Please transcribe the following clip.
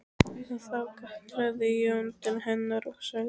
Þá kallaði Jón til hennar og sagði